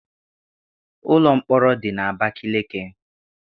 Ụlọ mkpọrọ dị n'Abakaliki.